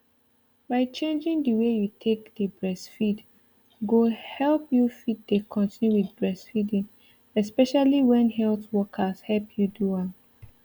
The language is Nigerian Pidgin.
by changing the way you take dey breastfeed go help you fit dey continue with breastfeeding especially when health workers help you do am